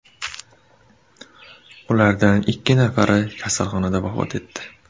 Ulardan ikki nafari kasalxonada vafot etdi.